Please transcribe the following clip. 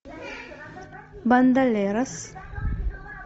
бандалерос